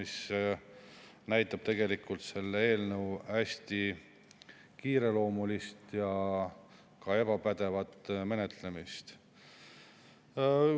See näitab tegelikult selle eelnõu hästi kiireloomulist ja ka ebapädevat menetlemist.